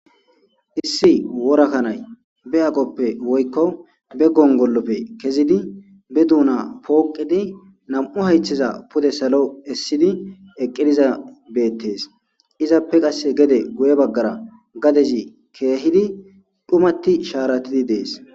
Issi wora kannayi be aqqope be gongoloppe kezidi be dona poqqidi be hayitheza pude salo essidi eqizayisi bettesi, izape geddera gadeti dhumidi bettesi